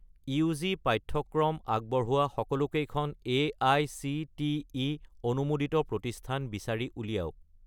UG. পাঠ্যক্ৰম আগবঢ়োৱা সকলোকেইখন এআইচিটিই অনুমোদিত প্ৰতিষ্ঠান বিচাৰি উলিয়াওক